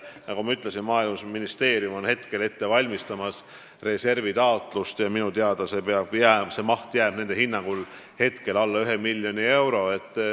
Nagu ma ütlesin, Maaeluministeerium valmistab praegu ette reservist raha eraldamise taotlust ja minu teada jääb selle maht nende hinnangul alla ühe miljoni euro.